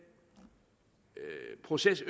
proces